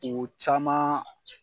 U caman